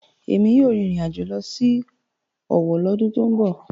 Èmi yóò rìnrìn àjò lọ sí Owo lọ́dún tó ń bọ̀.